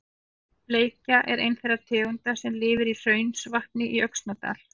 Bleikja er ein þeirra tegunda sem lifir í Hraunsvatni í Öxnadal.